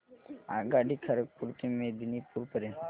आगगाडी खरगपुर ते मेदिनीपुर पर्यंत